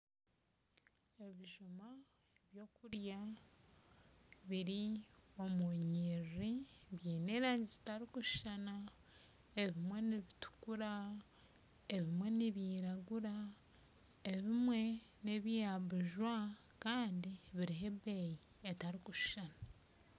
Ebijuma byokurya biri omunyiriri byine erangi zitarukushushana ebimwe nibitukura ebimwe nibyiragura Kandi biriho ebeeyi etarikushushana.